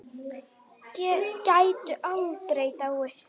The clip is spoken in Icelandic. Gætu aldrei dáið.